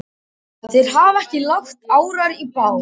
Þeir hafa ekki lagt árar í bát.